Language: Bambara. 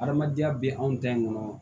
Adamadenya bɛ anw ta in kɔnɔ